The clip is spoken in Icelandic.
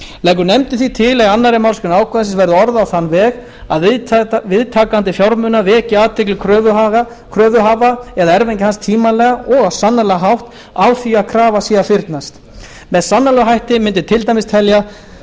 leggur nefndin því til að annarri málsgrein ákvæðisins verði orðuð á þann veg að viðtakandi fjármuna veki athygli kröfuhafa eða erfingja hans tímanlega og á sannanlegan hátt á því að krafa sé að fyrnast með sannanlegum hætti mundi til dæmis teljast